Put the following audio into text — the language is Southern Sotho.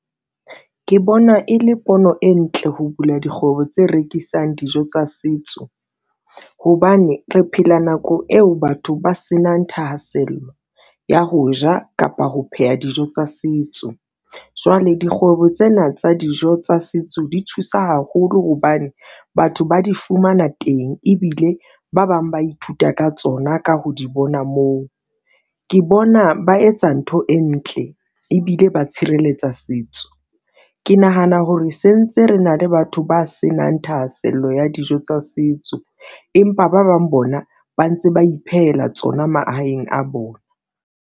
Ke bona e le pono e ntle ho bula dikgwebo tse rekisang dijo tsa setso hobane re phela nako eo batho ba senang thahasello ya ho ja kapa ho pheha dijo tsa setso. Jwale dikgwebo tsena tsa dijo tsa setso di thusa haholo hobane batho ba di fumana teng ebile ba bang ba ithuta ka tsona ka ho di bona moo, ke bona ba etsa ntho e ntle tle ng ebile ba tshireletsa setso. Ke nahana hore se ntse re na le batho ba senang thahasello ya dijo tsa setso, empa ba bang bona ba ntse ba iphehela tsona mahaeng a bona.